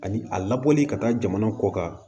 Ani a labɔli ka taa jamana kɔ kan